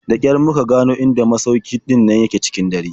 Da ƙyar muka gano inda masaukin in ɗin nan yake cikin dare.